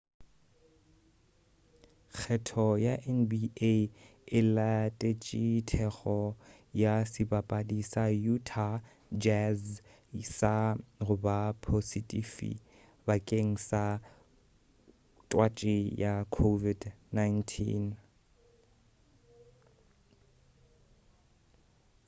kgetho ya nba e latetše teko ya sebapadi sa utah jazz sa goba posetifi bakeng sa twatši ya covid-19